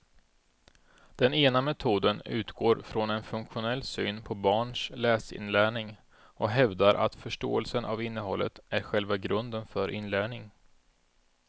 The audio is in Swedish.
Den ena metoden utgår från en funktionell syn på barns läsinlärning och hävdar att förståelsen av innehållet är själva grunden för inlärning.